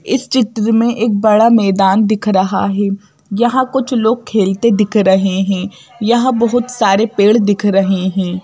इस चित्र में एक बड़ा मैदान दिख रहा है यहां कुछ लोग खेलते दिख रहे हैं यहां बहुत सारे पेड़ दिख रहे हैं।